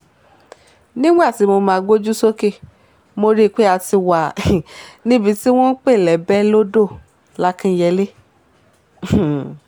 nígbà tí mo máa gbójú sókè mo rí i pé a ti wà um níbi tí wọ́n ń pè lébé-odò làkínyẹlé um